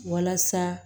Walasa